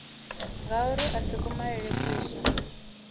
ngauri a si kumalele kuswa